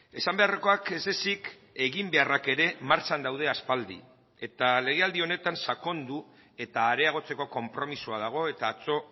esan beharrekoak ez ezik eginbeharrak ere martxan daude aspaldi eta legealdi honetan sakondu eta areagotzeko konpromisoa dago eta atzo